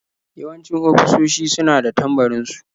Yawanci ofisoshi su na da tambarin su.